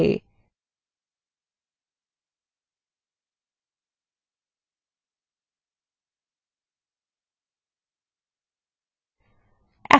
এখন এই table একটি নতুন ক্ষেত্র mediatype যোগ করুন যাতে mediatype audio না video সেই সংক্রান্ত তথ্য থাকবে